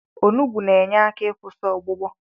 Olugbu na-akwụsị na-enye aka ịkwụsị ọgbụgbọ.